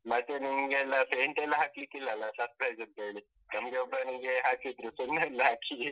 ಮತ್ತೆ ನಿಮ್ಗೆಲ್ಲಾ paint ಎಲ್ಲಾ ಹಾಕ್ಲಿಕಿಲ್ಲ ಅಲ್ಲ surprise ಅಂತ ಹೇಳಿ, ನಮ್ಗೆ ಒಬ್ಬನಿಗೆ ಹಾಕಿದ್ರು ಸುಣ್ಣಯೆಲ್ಲ ಹಾಕಿ .